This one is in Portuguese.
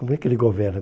Como é que ele governa?